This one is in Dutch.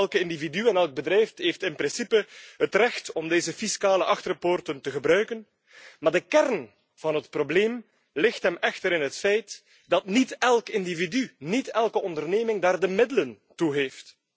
Elk individu en elk bedrijf heeft in principe het recht om deze fiscale achterpoorten te gebruiken, maar de kern van het probleem ligt hem echter in het feit dat niet elk individu, niet elke onderneming daar de middelen toe heeft.